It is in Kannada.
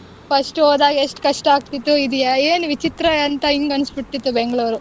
ಹ್ಮ್ first ಹೋದಾಗ ಎಷ್ಟು ಕಷ್ಟ ಆಗತಿತ್ತು ಇದ್ ಏನ್ ವಿಚಿತ್ರ ಅಂತ ಹಿಂಗ್ ಅನಿಸ್ಬಿಡ್ತಿತ್ತು Bangalore .